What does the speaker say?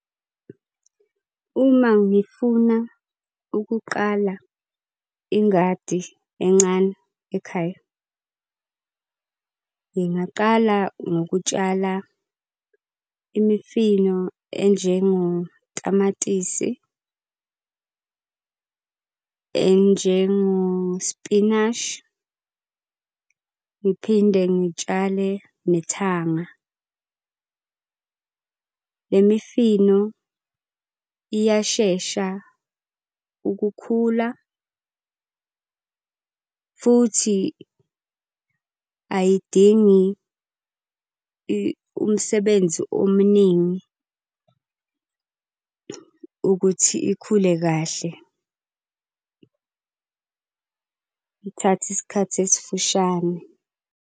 Uma ngifuna ukuqala ingadi encane ekhaya, ngingaqala ngokutshala imifino enjengo tamatisi, enjengospinashi. Ngiphinde ngitshale nethanga. Le mifino iyashesha ukukhula futhi ayidingi umsebenzi omuningi ukuthi ikhule kahle. Ithatha isikhathi esifushane.